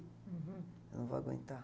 Uhum. Eu não vou aguentar.